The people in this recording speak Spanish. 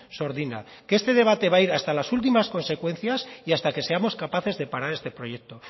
sordina que este debate va a ir hasta las últimas consecuencias y hasta que seamos capaces de parar este proyecto